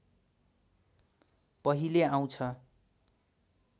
पहिले आउँछ